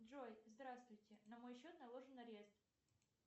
джой здравствуйте на мой счет наложен арест